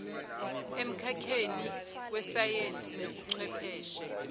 emkhakheni wesayense nobuchwepheshe